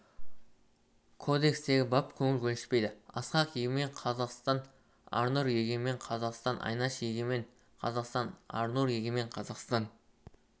кодекстегі бап көңіл көншітпейді асхат егемен қазақстан арнұр егемен қазақстан айнаш егемен қазақстан арнұр егемен қазақстан